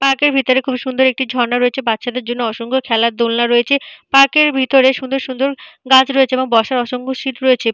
Park - এর ভেতরে খুব সুন্দর একটি ঝর্ণা রয়েছে। বাচ্চাদের জন্য অসংখ্য খেলার দোলনা রয়েছে। পার্ক - এর ভেতরে সুন্দর সুন্দর গাছ রয়েছে এবং বসার অসংখ্য সিট রয়েছে।